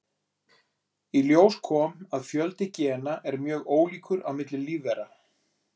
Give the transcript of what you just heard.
Í ljós kom að fjöldi gena er mjög ólíkur á milli lífvera.